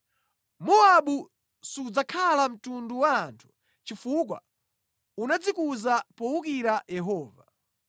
Mowabu sudzakhala mtundu wa anthu chifukwa unadzikuza powukira Yehova.